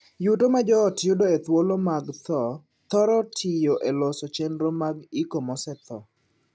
Yuto mar joot yudo e thuolo mag thoo thoro tiyo e loso chenro mag iko mosethoo.